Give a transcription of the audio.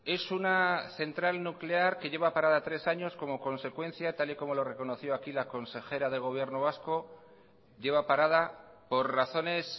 es una central nuclear que lleva parada tres años como consecuencia tal y como lo reconoció aquí la consejera del gobierno vasco lleva parada por razones